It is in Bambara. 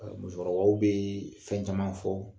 Musokɔrɔbaw bɛ fɛn caman fɔ